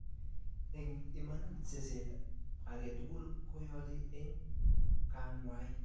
eng Iman seset age tugul koyoche eng kangwai